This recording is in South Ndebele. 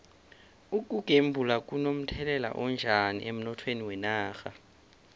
ukugembula kuno mthelela onjani emnothweni wenarha